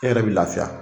E yɛrɛ bɛ lafiya